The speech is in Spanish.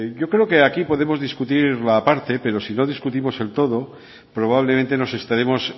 yo creo que de aquí podemos discutir la parte pero si no discutimos el todo probablemente nos estaremos